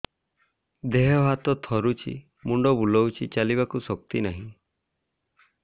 ଦେହ ହାତ ଥରୁଛି ମୁଣ୍ଡ ବୁଲଉଛି ଚାଲିବାକୁ ଶକ୍ତି ନାହିଁ